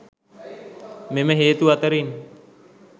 මෙම හේතු අතරින්